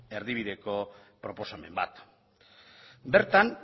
erdibideko proposamen bat bertan